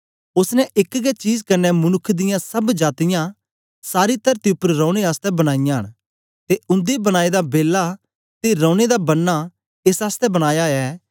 ओसने एक गै चीज कन्ने मनुक्ख दियां सब जातीयां सारी तरती उपर रौने आसतै बनाईयां न ते उन्दे बनाए दा बेला ते रौने दे बन्ना एस आसतै बनाया ऐ